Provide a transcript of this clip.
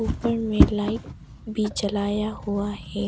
ऊपर में लाइट भी जलाया हुआ है।